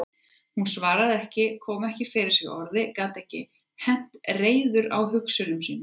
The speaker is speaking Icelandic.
Hann svaraði ekki, kom ekki fyrir sig orði, gat ekki hent reiður á hugsunum sínum.